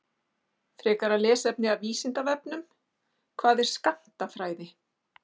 Frekara lesefni af Vísindavefnum: Hvað er skammtafræði?